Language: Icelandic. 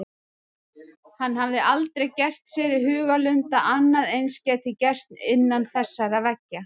Hann hafði aldrei gert sér í hugarlund að annað eins gæti gerst innan þessara veggja.